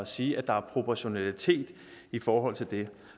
sige at der er proportionalitet i forhold til det